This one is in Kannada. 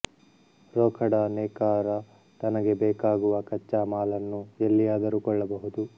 ರೋಖಡಾ ನೇಕಾರ ತನಗೆ ಬೇಕಾಗುವ ಕಚ್ಚಾ ಮಾಲನ್ನು ಎಲ್ಲಿಯಾದರೂ ಕೊಳ್ಳಬಹುದು